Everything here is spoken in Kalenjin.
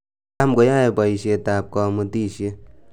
tam koyoe boisyet ab komutisiet